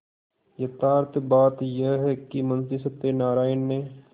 यथार्थ बात यह है कि मुंशी सत्यनाराण ने